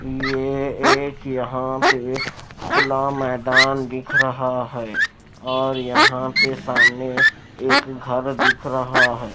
ये एक यहां पे खुला मैदान दिख रहा हैऔर यहां पे सामने एक घर दिख रहा है।